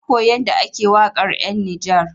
Na koyi yanda ake waƙar 'yan Nijar.